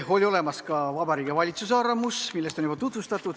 Oli olemas ka Vabariigi Valitsuse arvamus, mida on juba tutvustatud.